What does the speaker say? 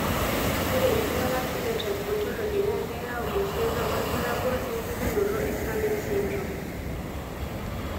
Ore oltungani Phenotype Ontology na keyau esiana olbulabul opukunoto eSummitt syndrome.